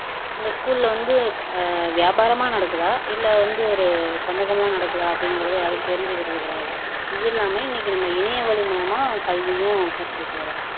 இந்த ஸ்கூல்ல வந்து ஹம் வியாபாரமா நடக்குதா இல்ல வந்து ஒரு சமூகமா நடக்குதா அப்படிங்குறதை யாரும் தெரிஞ்சுக்கிறது கிடையாது, இது இல்லாம இன்னைக்கு இணைய வழி மூலமா கல்வியும் கற்றுகிட்டு வர்றோம்